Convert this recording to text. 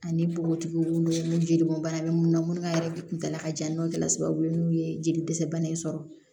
Ani bogotigiw ni jelibɔn bana bɛ mun na munnu ka yɛrɛ kuntala ka jan n'o kɛra sababu ye n'u ye jeli dɛsɛ bana in sɔrɔ